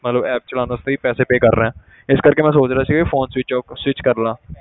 ਮਤਲਬ app ਚਲਾਉਣ ਵਾਸਤੇ ਵੀ ਪੈਸੇ pay ਕਰ ਰਿਹਾਂ ਇਸ ਕਰਕੇ ਮੈਂ ਸੋਚ ਰਿਹਾ ਸੀ ਵੀ phone switch off switch ਕਰ ਲਵਾਂ